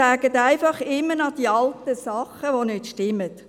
Sie sagen einfach immer noch die alten Dinge, die nicht stimmen.